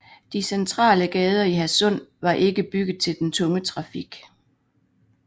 De centrale gader i Hadsund var ikke bygget til den tunge trafik